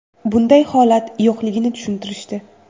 Bunday holat yo‘qligini tushuntirishdi”.